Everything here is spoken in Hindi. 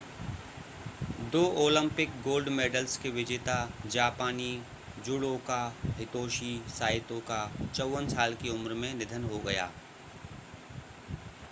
दो ओलिम्पिक गोल्ड मेडल्स के विजेता जापानी जुडोका हितोशी साइतो का 54 साल की उम्र में निधन हो गया